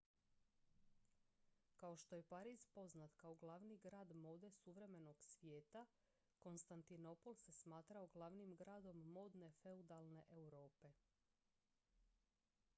kao što je pariz poznat kao glavni grad mode suvremenog svijeta kostantinopol se smatrao glavnim gradom mode feudalne europe